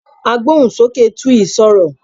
Agbóhùnsókè Twi sọ̀rọ̀.